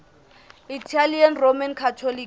italian roman catholics